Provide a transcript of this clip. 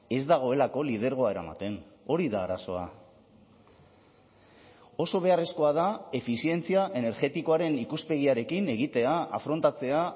ez dagoelako lidergoa eramaten hori da arazoa oso beharrezkoa da efizientzia energetikoaren ikuspegiarekin egitea afrontatzea